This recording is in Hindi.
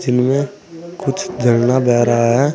इनमे कुछ झरना बह रहा है।